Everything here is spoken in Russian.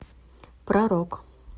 про рок